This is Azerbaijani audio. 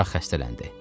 Uşaq xəstələndi.